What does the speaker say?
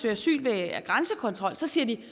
asyl ved at have grænsekontrol så siger de